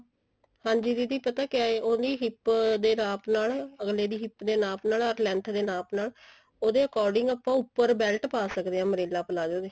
ਹਾਂਜੀ ਦੀਦੀ ਪਤਾ ਕਿਆ ਹੈ ਉਹਦੀ hip ਦੇ ਨਾਪ ਨਾਲ ਅੱਗਲੇ ਦੀ hip ਦੇ ਨਾਪ ਨਾਲ ਅਰ length ਦੇ ਨਾਪ ਨਾਲ ਉਹਦੇ according ਆਪਾਂ ਉੱਪਰ belt ਪਾ ਸਕਦੇ ਹਾਂ umbrella palazzo ਦੇ